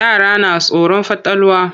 Yara na tsoron fatalwa.